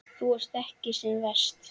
Þú ert ekki sem verst.